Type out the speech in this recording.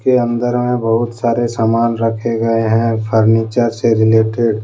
अंदर में बहुत सारे सामान रखे गए हैं फर्नीचर से रिलेटेड ।